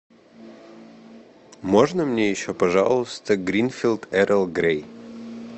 можно мне еще пожалуйста гринфилд эрл грей